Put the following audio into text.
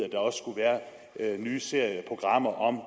at nye serieprogrammer om